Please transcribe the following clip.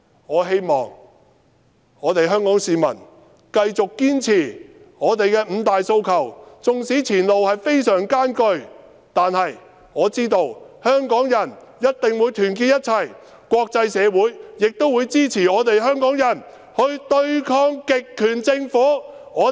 我希望香港市民繼續堅持五大訴求，縱使前路非常艱難，但我知道香港人一定會團結一致，而國際社會亦會支持香港人對抗極權政府。